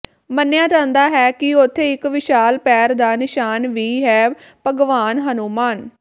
ਮੰਨਿਆ ਜਾਂਦਾ ਹੈ ਕਿ ਉਥੇ ਇਕ ਵਿਸ਼ਾਲ ਪੈਰ ਦਾ ਨਿਸ਼ਾਨ ਵੀ ਹੈ ਭਗਵਾਨ ਹਨੂੰਮਾਨ